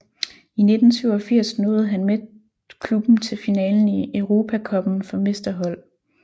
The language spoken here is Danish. I 1987 nåede han med klubben til finalen i Europacuppen for mesterhold